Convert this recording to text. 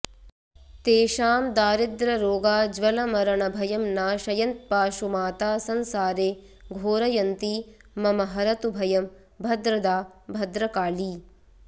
तेषां दारिद्ररोगा ज्वलमरणभयं नाशयन्त्पाशुमाता संसारे घोरयन्ती ममहरतु भयं भद्रदा भद्रकाली